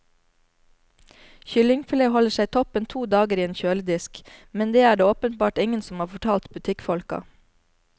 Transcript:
Kyllingfilet holder seg toppen to dager i en kjøledisk, men det er det åpenbart ingen som har fortalt butikkfolka.